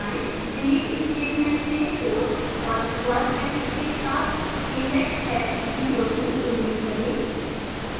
delete statement से quotes और square brackets के साथ index s02 डिलीट करें